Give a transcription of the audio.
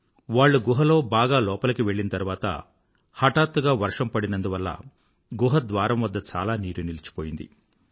వాళ్ళు గుహలో బాగా లోపలికి వెళ్ళిన తరువాత హటాత్తుగా వర్షం పడినందువల్ల గుహ ద్వారం వద్ద చాలా నీరు నిలిచిపోయింది